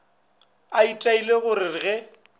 a itaile go re ge